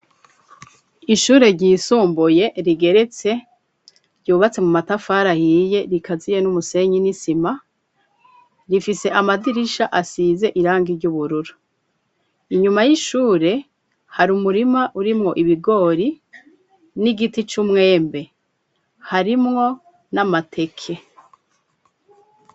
Ishure ryisumbuye rigeretse ryubatse mu matafari ahiye rikaziye n'umusenyi n'isima rifise amadirisha asize irangi ry'ubururu, inyuma y'ishure hari umurima urimwo ibigori n'igiti c'umwembe harimwo n'amateke.